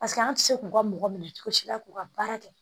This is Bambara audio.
Paseke an ti se k'u ka mɔgɔ minɛ cogo si la k'u ka baara kɛ